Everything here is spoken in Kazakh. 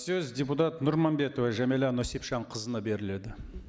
сөз депутат нұрманбетова жәмилә нүсіпжанқызына беріледі